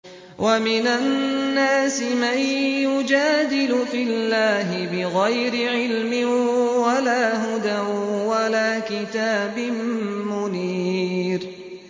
وَمِنَ النَّاسِ مَن يُجَادِلُ فِي اللَّهِ بِغَيْرِ عِلْمٍ وَلَا هُدًى وَلَا كِتَابٍ مُّنِيرٍ